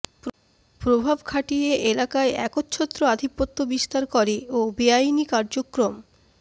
প্রভাব খাটিয়ে এলাকায় একচ্ছত্র আধিপত্য বিস্তার করে ও বেআইনি কার্যক্রম